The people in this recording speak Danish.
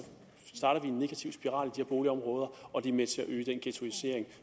starter vi en negativ spiral her boligområder og det er med til at øge den ghettoisering